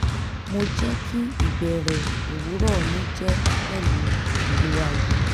mo jẹ́ kì íbẹrẹ òwúrọ̀ mi jẹ́ pẹ̀lú ìró aago